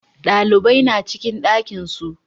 Ɗalibai na ciki ɗakin su